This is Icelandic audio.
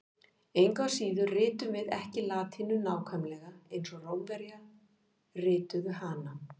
Engu að síður ritum við ekki latínu nákvæmlega eins og Rómverjar rituðu hana.